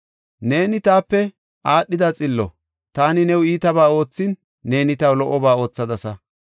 “Neeni taape aadhida xillo; taani new iitabaa oothin, neeni taw lo77oba oothadasa.